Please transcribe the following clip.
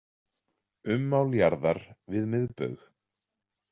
Ummál jarðar við miðbaug.